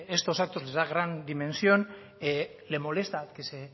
estos actos les da gran dimensión le molesta que se